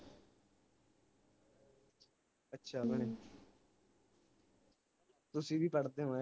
ਅੱਛਾ ਭੈਣੇ ਤੁਸੀਂ ਵੀ ਪੜ੍ਹਦੇ ਹੋ